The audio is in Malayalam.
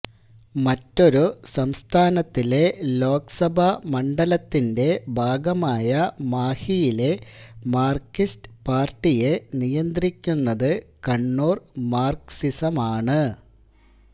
മറ്റൊരു സംസ്ഥാനത്തിലെ ലോക്സഭാ മണ്ഡലത്തിന്റെ ഭാഗമായ മാഹിയിലെ മാർക്സിസ്റ്റ് പാർട്ടിയെ നിയന്ത്രിക്കുന്നത് കണ്ണൂർ മാർക്സിസമാണ്